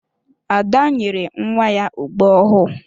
Ada nyere nwa ya ogbo ọhụụ.